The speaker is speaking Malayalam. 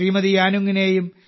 യാനുങ്ങിനെയും ശ്രീ